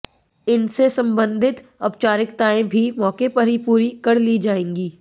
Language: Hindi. इनसे संबंधित औपचारिकाताएं भी मौके पर ही पूरी कर ली जाएंगी